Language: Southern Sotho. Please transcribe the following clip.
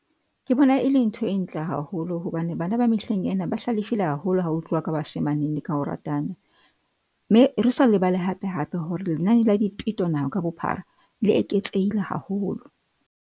Ke bona, e le ntho e ntle haholo hobane bana ba mehleng ena ba hlalefile haholo ha ho tluwa ka bashemaneng le ka ho ratana. Mme re sa lebale hape hape hore lenane la dipeto naha ka bophara le eketsehile haholo.